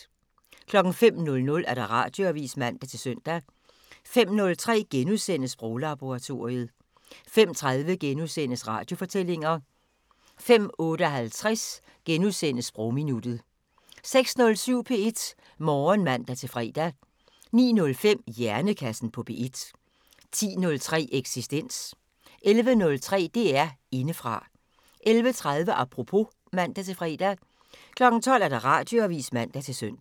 05:00: Radioavisen (man-søn) 05:03: Sproglaboratoriet * 05:30: Radiofortællinger * 05:58: Sprogminuttet 06:07: P1 Morgen (man-fre) 09:05: Hjernekassen på P1 10:03: Eksistens 11:03: DR Indefra 11:30: Apropos (man-fre) 12:00: Radioavisen (man-søn)